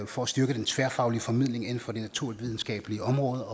for at styrke den tværfaglige formidling inden for det naturvidenskabelige område